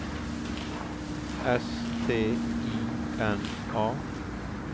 S T I N A